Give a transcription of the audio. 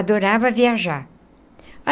Adorava viajar.